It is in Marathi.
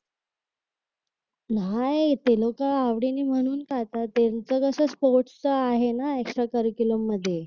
न्हाई ते लोक आवडीने म्हणून खातात त्यांचं कस असत स्पोर्ट्स च आहे ना एक्सट्रा सर्कलम मध्ये